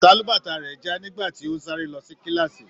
Sálúbàtà rẹ já nígbà tí o n sáré lọ sí kilaasi.